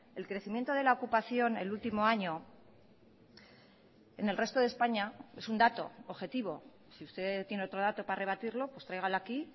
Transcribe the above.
el crecimiento de la ocupación el último año en el resto de españa es un dato objetivo si usted tiene otro dato para rebatirlo pues tráigalo aquí